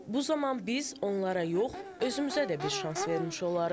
Bu zaman biz onlara yox, özümüzə də bir şans vermiş olarıq.